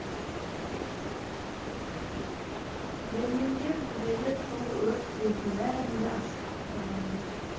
берлинге кіргелі сол өрт сезім бәрін де асықтырғандай